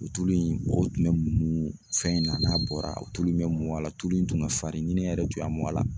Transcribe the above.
O tulu in o tun bɛ mun fɛn in na n'a bɔra o tulu in bɛ mun a la tulu in tun bɛ farin ni ne yɛrɛ tun y'a mun a la